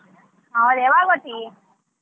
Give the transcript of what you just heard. ಯಾವಾಗ್ ಹೋತಿ?